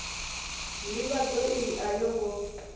ndivhadzo iyi a yo ngo